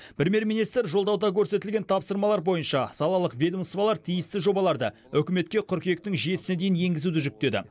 премьер министр жолдауда көрсетілген тапсырмалар бойынша салалық ведомстволар тиісті жобаларды үкіметке қыркүйектің жетісіне дейін енгізуді жүктеді